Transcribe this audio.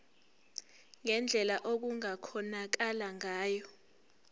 ngendlela okungakhonakala ngayo